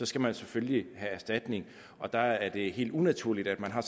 skal man selvfølgelig have erstatning og der er det helt unaturligt at man har